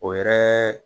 O yɛrɛ